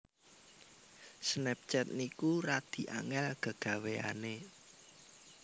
Snapchat niku radi angel gegaweane